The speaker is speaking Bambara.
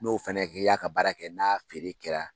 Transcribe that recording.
N'o fana kɛ y'a ka baara kɛ n'a feere kɛra